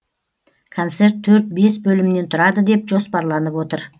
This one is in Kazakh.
концерт төрт бес бөлімнен тұрады деп жоспарланып отыр